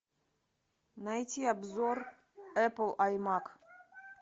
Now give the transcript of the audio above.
найти обзор эпл аймак